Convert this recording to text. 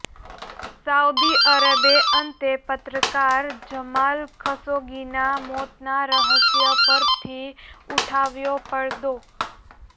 Saudi અરબે અંતે પત્રકાર જમાલ ખશોગીના મોતના રહસ્ય પરથી ઉઠાવ્યો પડદો